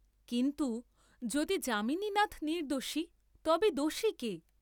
কিন্তু যদি যামিনীনাথ নির্দ্দোষী তবে দোষী কে?